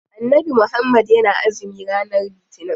Annabi muhammad yana azumi ranar litinin.